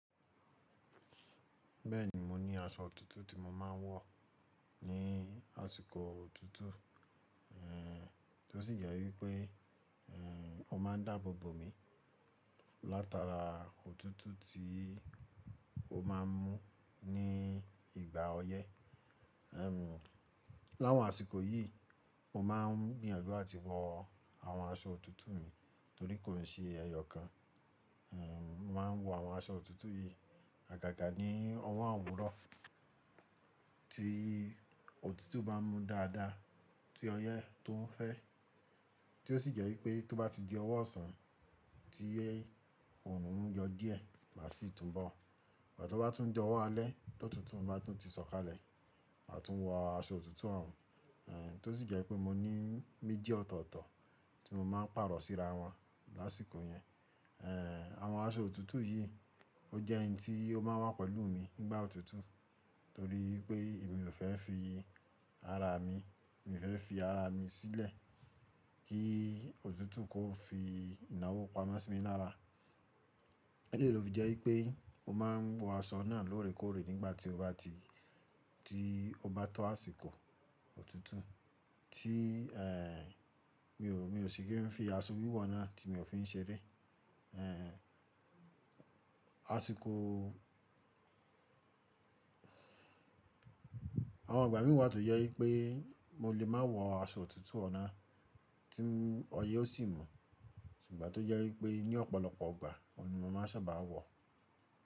Bẹ́ẹ̀ni, mo ní aṣọ òtútù tí mo máa ń wọ̀ ní àsìkò òtútù, èè tó sì jẹ́ wípé, èè ọ máa ń dáàbò bò mi látara òtútù tí ó máa ń mú ní ìgbà ọyẹ́. Emm, láwọn àsìkò yìí mo máa ń gbìyànjú láti wọ àwọn aṣọ òtútù mi torí kò ń ṣe ẹyọọ̀kan. Ehn, mo màá ń wọ àwọn aṣọ òtútù yìí àgàgà ní ọwọ́ òwúrọ̀ tí òtútù bá mú dáadáa, tí ọyẹ́ tó ń fẹ́, tí ó sì jẹ́ wípé tó bá di ọwọ́ ọ̀sán, tí oòrùn ń yọ díẹ̀ màá sì tún bọ̀. Ìgbà tó bá tún di ọwọ́ alẹ́, t’òtútù bá tún ti sọ̀kalẹ̀, màá tún wọ àṣọ òtútù ọ̀ ń, èè tó sì jẹ́ wípé mo ní méjì ọ̀tọ̀ọ̀tọ̀ tí mo máa ń pàrọ̀ síra wọn lásìkò yẹn. Èè àwọn aṣọ òtútù yìí ó jẹ́ n tí ó máa n wá pẹ̀lú mi nígbà òtútù torí pé èmi ò fẹ́ fi ara mi, mi ò fẹ́ fi ara mi sílẹ̀ kí òtútù kó fi ìnáwó pamọ́ sí mi lára. Eléyìí ló fi jẹ́ wípé mo máa ń wọ aṣọ náà lóòrèkóòrè nígbà tí ó bá ti, tí ó bá tó àsìkò òtútù tí èè mi ò, mi ò sì kí ń fi aṣọ wíwọ̀ náà tí mi ò fi ń ṣeré. Èè àsìkò àwọn ìgbà míì wa tó jẹ́ wípé mo lè máa wọ àṣọ òtútù ọ nà tí ọyẹ́ ó sì mú, ṣùgbọ́n tó jẹ́ wípé ní ọ̀pọ̀lọpọ̀ ìgbà, òun ni mo máa sábà á wọ̀.